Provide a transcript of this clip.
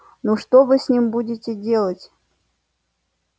ну что вы с ним будете делать